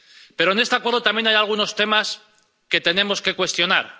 Pero en este acuerdo también hay algunos temas que tenemos que cuestionar.